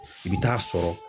I bɛ taa sɔrɔ.